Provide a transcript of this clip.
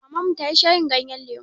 Maman mu ta yi shayin ganyen lemu.